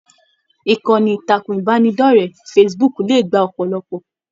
Ìkànnì ìtàkùn ìbánidọ̀rẹ̀ Facebook le gbà ọpọlọpọ.